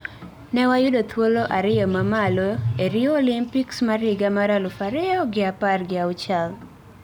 Ne wayudo thuolo ariyo mamalo e Rio Olympics mar higa mar aluf ariyo gi apar gi auchiel.